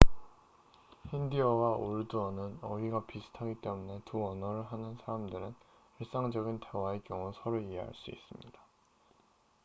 힌디어와 우르두어는 문자는 다르지만 어휘가 비슷하기 때문에 두 언어를 하는 사람들은 일상적인 대화의 경우 서로 이해할 수 있습니다